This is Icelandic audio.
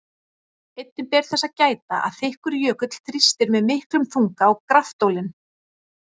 Einnig ber þess að gæta að þykkur jökull þrýstir með miklum þunga á graftólin.